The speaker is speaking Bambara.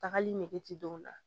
Tagali nege ti don o la